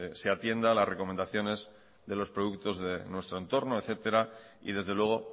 se atienda a las recomendaciones de los productos de nuestro en torno etcétera y desde luego